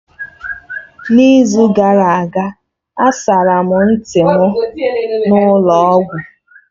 N'izu gara aga asara m ntị m n'ụlọ ọgwụ